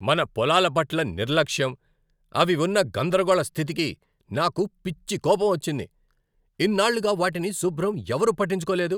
మన పొలాల పట్ల నిర్లక్ష్యం, అవి ఉన్న గందరగోళ స్థితికి నాకు పిచ్చి కోపం వచ్చింది. ఇన్నాళ్లుగా వాటిని శుభ్రం ఎవరూ పట్టించుకోలేదు.